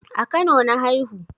A kano na haihu